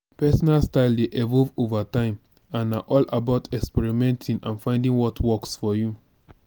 pesinal style dey evolve over time and na all about experimenting and finding what works for you.